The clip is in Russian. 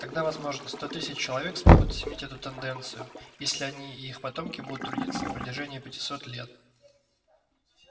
тогда возможно сто тысяч человек смогут изменить эту тенденцию если они и их потомки будут трудиться на протяжении пятисот лет